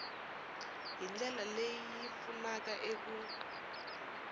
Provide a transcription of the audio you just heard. hi ndlela leyi pfunaka eku